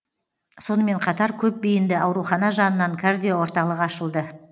сонымен қатар көпбейінді аурухана жанынан кардиоорталық ашылды